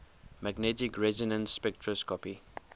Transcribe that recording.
magnetic resonance spectroscopy